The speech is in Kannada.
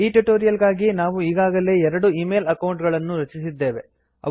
ಈ ಟ್ಯುಟೋರಿಯಲ್ ಗಾಗಿ ನಾವು ಈಗಾಗಲೇ ಎರಡು ಈಮೇಲ್ ಅಕೌಂಟ್ ಗಳನ್ನು ರಚಿಸಿದ್ದೇವೆ